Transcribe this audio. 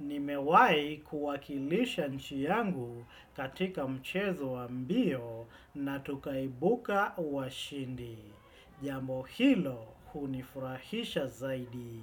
Nimewahi kuwakilisha nchi yangu katika mchezo wa mbio na tukaibuka wa shindi. Jamo hilo hunifurahisha zaidi.